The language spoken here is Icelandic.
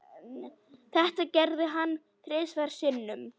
Þetta gerði hann þrisvar sinnum.